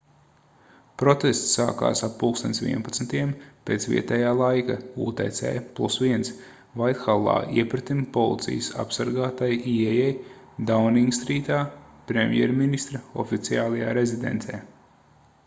protests sākās ap plkst. 11:00 pēc vietējā laika utc+1 vaithallā iepretim policijas apsargātai ieejai dauningstrītā premjerministra oficiālajā rezidencē